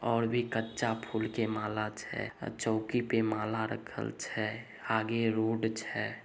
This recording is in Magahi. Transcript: और भी कच्चा फूल के माला छे अ चौकी पर माला रखल छे आगे रोड छे।